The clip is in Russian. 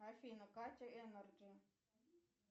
афина катя энерджи